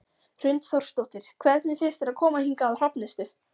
Hrund Þórsdóttir: Hvernig finnst þér að koma hingað á Hrafnistu?